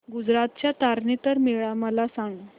गुजरात चा तारनेतर मेळा मला सांग